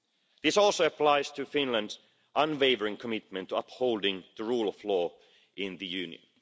This also applies to Finland's unwavering commitment to upholding the rule of law in the Union.